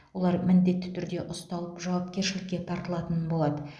олар міндетті түрде ұсталып жауапкершілікке тартылатын болады